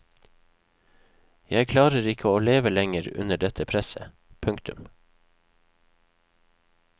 Jeg klarer ikke å leve lenger under dette presset. punktum